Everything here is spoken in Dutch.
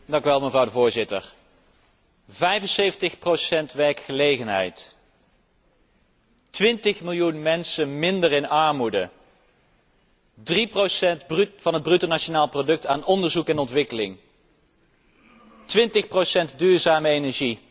Mevrouw de Voorzitter, 75procent werkgelegenheid, twintigmiljoen mensen minder in armoede, drieprocent van het bruto nationaal product aan onderzoek en ontwikkeling, twintig procent duurzame energie.